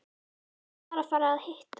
Ég var að fara að hitta